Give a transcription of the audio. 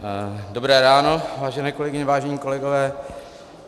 Dobré ráno vážené kolegyně, vážení kolegové.